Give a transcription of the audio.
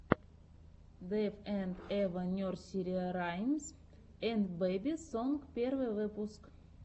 дэйв энд эва нерсери раймс энд бэби сонг первый выпуск